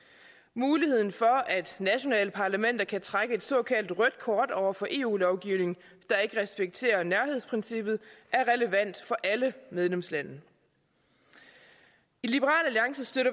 muligheden for at nationale parlamenter kan trække et såkaldt rødt kort over for eu lovgivning der ikke respekterer nærhedsprincippet er relevant for alle medlemslande i liberal alliance støtter